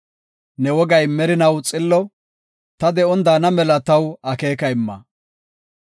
Ne wogay merinaw xillo; ta de7on daana mela taw akeeka imma.